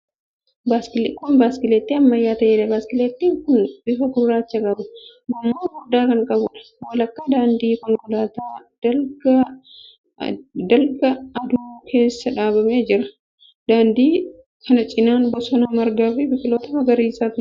Kun biskileettii ammayyaa ta'eedha. Biskileettiin kun bifa gurraacha qaba. Gommaa furdaa kan qabuudha. Walakkaa daandii konkolaataa dalga aduu keessa dhaabamee jira. Daandii kana cinaan bosona, margaa fi biqiltoota magariisatu jira.